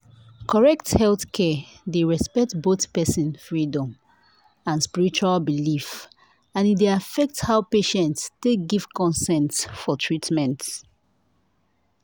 correct healthcare dey respect both person freedom and spiritual belief and e dey affect how patient take give consent for treatment